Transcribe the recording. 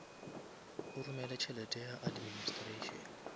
o romele tšhelete ya administration